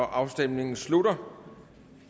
afstemningen slutter